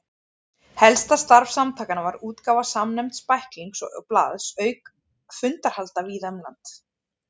Helsta starf samtakanna var útgáfa samnefnds bæklings og blaðs auka fundahalda víða um land.